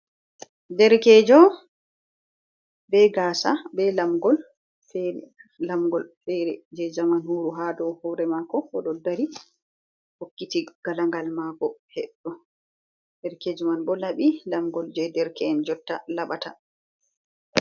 Ɗerekejo be gasa be lamgol. Lamgol fere je zaman ha ɗow hore mako oɗo hore mako oɗo dari hokkiti galagal mako heɗɗo. Ɗerkejo man bo labi lamgol je derke’en jotta labata.